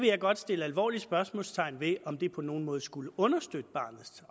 jeg godt sætte et alvorligt spørgsmålstegn ved om det på nogen måde skulle understøtte barnets